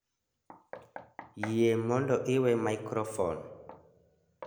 Yie mondo iwe maikrofon